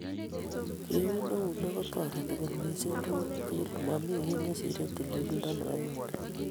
Keun eunek kotoreti kot missing "Tugul eng tugul ,mami kiy nesire tililindo nebo eunek